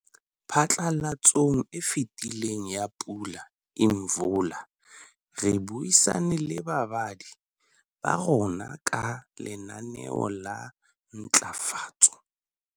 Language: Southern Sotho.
Phatlalatsong e fetileng ya Pula Imvula, re buisane le babadi ba rona ka Lenaneo la Ntlafatso.